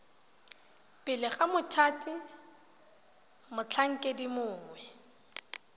pele ga mothati motlhankedi mongwe